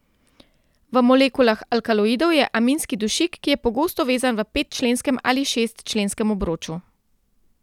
V molekulah alkaloidov je aminski dušik, ki je pogosto vezan v petčlenskem ali šestčlenskem obroču.